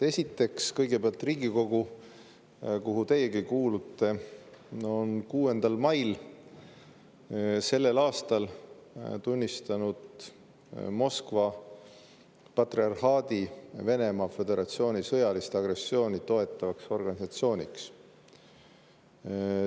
Esiteks, Riigikogu, kuhu teiegi kuulute, tunnistas 6. mail sellel aastal Moskva patriarhaadi Venemaa Föderatsiooni sõjalist agressiooni toetavaks organisatsiooniks.